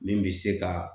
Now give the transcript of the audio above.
Min bi se ka